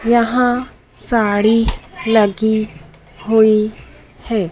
यहां साड़ी लगी हुई है।